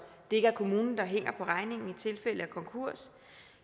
det ikke er kommunen der hænger på regningen i tilfælde af konkurs